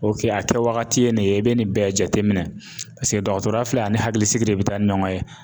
OK a kɛ wagati ye nin ye i bɛ nin bɛɛ jate minɛ paseke dɔgɔtɔrɔya filɛ ani hakilisigi de bɛ taa ni ɲɔgɔn ye.